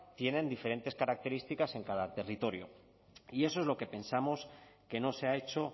tiene diferentes características en cada territorio y eso es lo que pensamos que no se ha hecho